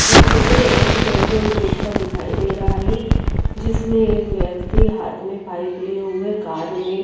ये चित्र एक पेट्रोल पंप दिखाई दे रहा हिया जिसमे एक व्यक्ति हाथ में पाइप लिए हुए कार में --